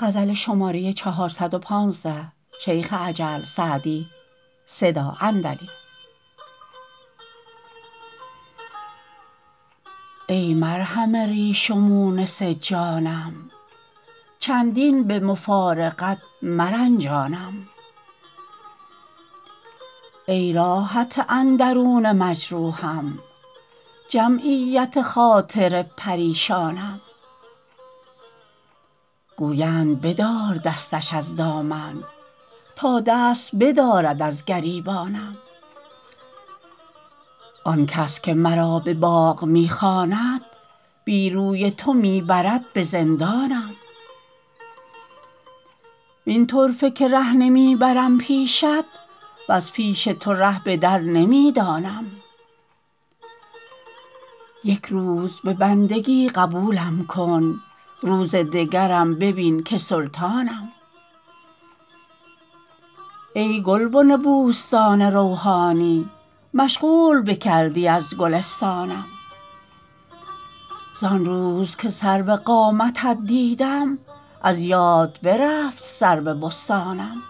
ای مرهم ریش و مونس جانم چندین به مفارقت مرنجانم ای راحت اندرون مجروحم جمعیت خاطر پریشانم گویند بدار دستش از دامن تا دست بدارد از گریبانم آن کس که مرا به باغ می خواند بی روی تو می برد به زندانم وین طرفه که ره نمی برم پیشت وز پیش تو ره به در نمی دانم یک روز به بندگی قبولم کن روز دگرم ببین که سلطانم ای گلبن بوستان روحانی مشغول بکردی از گلستانم زان روز که سرو قامتت دیدم از یاد برفت سرو بستانم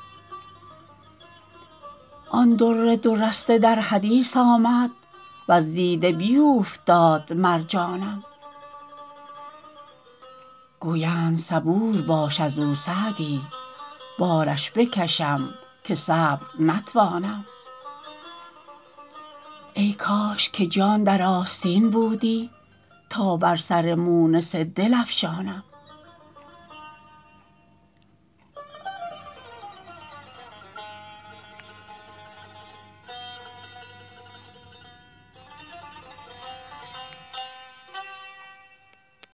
آن در دو رسته در حدیث آمد وز دیده بیوفتاد مرجانم گویند صبور باش از او سعدی بارش بکشم که صبر نتوانم ای کاش که جان در آستین بودی تا بر سر مونس دل افشانم